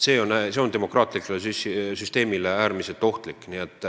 See on demokraatlikule süsteemile äärmiselt ohtlik.